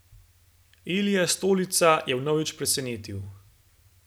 Ilija Stolica je vnovič presenetil!